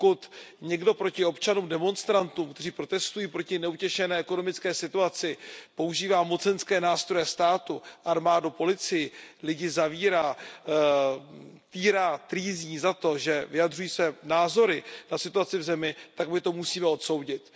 Pokud někdo proti občanům, demonstrantům, kteří protestují proti neutěšené ekonomické situaci, používá mocenské nástroje státu armádu, policii lidi zavírá, týrá, trýzní za to, že vyjadřují své názory na situaci v zemi, tak my to musíme odsoudit.